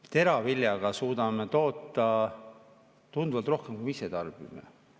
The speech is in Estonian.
Teravilja suudame toota tunduvalt rohkem, kui ise tarbime.